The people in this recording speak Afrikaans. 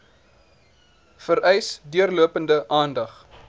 vereis deurlopende aandag